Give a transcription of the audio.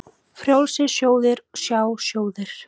Frjálsir sjóðir, sjá sjóðir